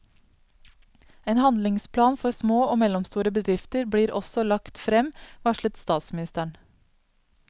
En handlingsplan for små og mellomstore bedrifter blir også lagt frem, varslet statsministeren.